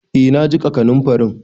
Eh na jiƙa kanunfarin.